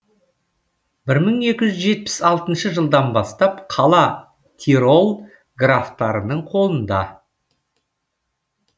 бір мың екі жүз жетпіс алтыншы жылдан бастап қала тирол графтарының қолында